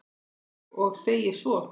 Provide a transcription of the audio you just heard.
Og segir svo